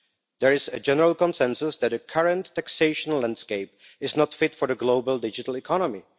There is a general consensus that the current taxation landscape is not fit for the global digital economy.